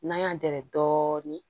N'an y'an dɛrɛ dɔɔnin